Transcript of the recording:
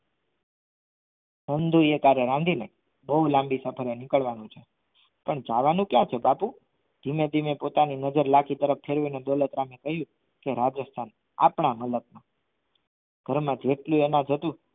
રાંધીને બો લાંબી સફરે નીકળવાનું છે પણ જવાનું ક્યાં છે બાપુ? ધીમે-ધીમે પોતાની નજર લાખી તરફ ફેરવીને દોલતરામ એ કહ્યું કે રાજસ્થાન આપણા મલખ મા ઘરમા જેટલી એના જતું